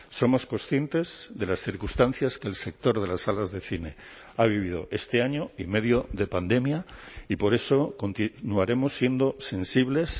somos conscientes de las circunstancias que el sector de las salas de cine ha vivido este año y medio de pandemia y por eso no haremos siendo sensibles